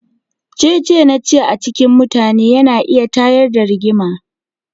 Cece-nace a cikin mutane yana iya tayar da Rigima.